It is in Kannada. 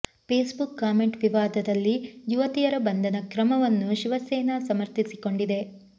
ಫೇಸ್ ಬುಕ್ ಕಾಮೆಂಟ್ ವಿವಾದದಲ್ಲಿ ಯುವತಿಯರ ಬಂಧನ ಕ್ರಮವನ್ನು ಶಿವಸೇನಾ ಸಮರ್ಥಿಸಿಕೊಂಡಿದೆ